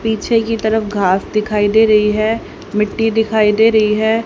पीछे की तरफ घास दिखाई दे रही है मिट्टी दिखाई दे रही है।